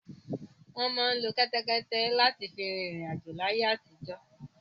Wọ́n máa ń lo kẹ́tẹ́kẹ́té láti fi rin ìriǹ àjò láyé àtijọ́.